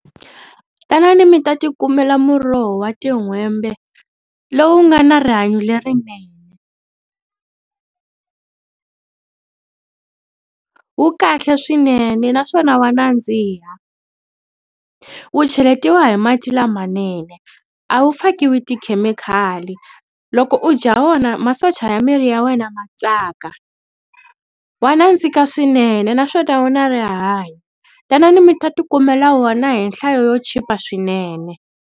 Tanani mi ta ti kumela muroho wa tin'hwembe lowu nga na rihanyo lerinene wu kahle swinene naswona wa nandziha wu cheletiwa hi mati lamanene a wu fakiwi tikhemikhali loko u dya wona masocha ya miri ya wena ma tsaka wa nandzika swinene naswona wu na rihanyo tanani mi ta ti kumela wona hi nhlayo yo chipa swinene.